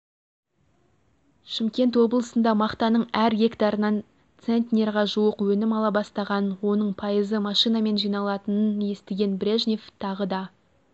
шымкент облысында мақтаның әр гектарынан центнерге жуық өнім ала бастағанын оның пайызы машинамен жиналатынын естіген брежнев тағы да